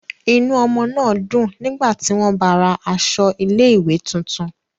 Inú ọmọ náà dùn nígbà tí wọ́n báa ra aṣọ ilé-ìwé tuntun.